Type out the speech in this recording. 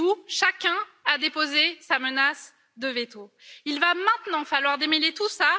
Chez vous, chacun a déposé sa menace de veto, il va maintenant falloir démêler tout cela.